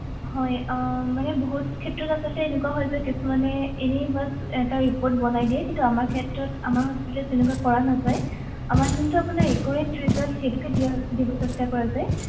হয় আহ মানে বহুত ক্ষেত্ৰত আচলতে এনেকুৱা হয় যে কিছুমানে এনেই বছ এটা report বনাই দিয়ে কিন্তু আমাৰ ক্ষেত্ৰত আমাৰ hospital ত তেনেকুৱা কৰা নাযায় আমাৰ যোনটো আপোনাৰ accurate result সেইটোকে দিয়া দিব চেষ্টা কৰা যায়